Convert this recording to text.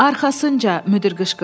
Arxasınca müdir qışqırdı.